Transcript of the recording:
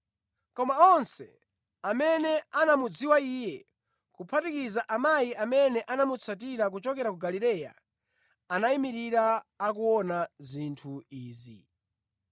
Koma onse amene anamudziwa Iye, kuphatikiza amayi amene anamutsatira kuchokera ku Galileya, anayimirira akuona zinthu izi.